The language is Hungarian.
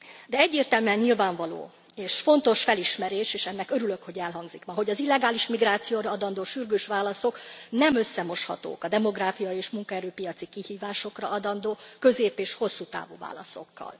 De egyértelműen nyilvánvaló és fontos felismerés és örülök, hogy elhangzik ma hogy az illegális migrációra adandó sürgős válaszok nem moshatók össze a demográfiai és munkaerőpiaci kihívásokra adandó közép és hosszú távú válaszokkal.